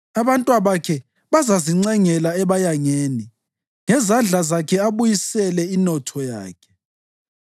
Abantwabakhe bazazincengela ebayangeni ngezandla zakhe abuyisele inotho yakhe.